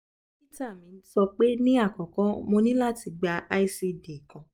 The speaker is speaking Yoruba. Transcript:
dokita mi sọpe ni akọkọ mo ni lati gba icd kan